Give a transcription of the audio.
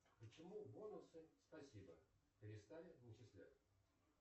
почему бонусы спасибо перестали начислять